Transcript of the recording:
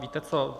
Víte co?